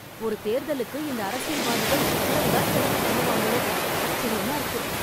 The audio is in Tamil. ஒரு தேர்தலுக்கு இந்த அரசியல்வாதிகள் எவ்வளவு தான் செலவு பண்ணுவாங்களோ ஆச்சிரியமா இருக்கு